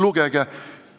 Lugege!